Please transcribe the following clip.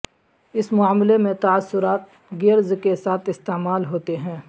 اس معاملے میں تاثرات گیئرز کے ساتھ استعمال ہوتے ہیں